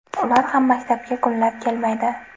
Ular ham maktabga kunlab kelmaydi.